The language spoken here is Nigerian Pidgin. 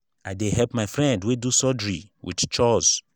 i dey help my friend wey do surgery wit chores.